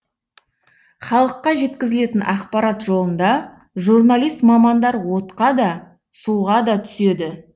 халыққа жеткізілетін ақпарат жолында журналист мамандар отқа да суға да түседі